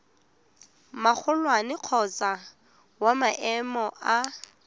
magolwane kgotsa wa maemo a